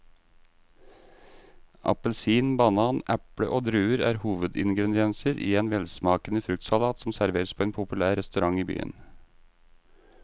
Appelsin, banan, eple og druer er hovedingredienser i en velsmakende fruktsalat som serveres på en populær restaurant i byen.